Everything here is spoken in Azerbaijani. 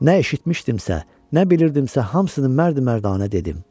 Nə eşitmişdimsə, nə bilirdimsə, hamısını mərd-mərdanə dedim.